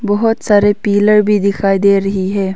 बहोत सारे पिलर भी दिखाई दे रही है।